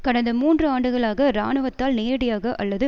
கடந்த மூன்று ஆண்டுகளாக இராணுவத்தால் நேரடியாக அல்லது